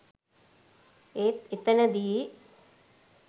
ඒත් එතනදි